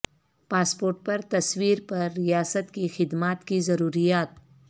passport پر تصویر پر ریاست کی خدمات کی ضروریات